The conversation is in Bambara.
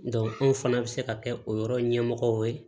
anw fana bɛ se ka kɛ o yɔrɔ ɲɛmɔgɔw ye